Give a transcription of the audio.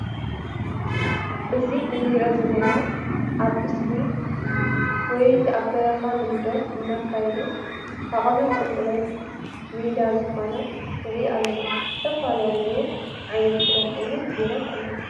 እዚ ንሪኦ ዘለና ኣብ ምስሊ ጎየይቲ ኣብ በረካ ልምንዶም እናካይዱ ዓቀብን ቁልቁልን ሜዳ ዝኮነ ንሪኢ ኣለና። ዝተፈላለየ ዓይነት ክዳን ኣዉን ጌሮም ኣለዉ ።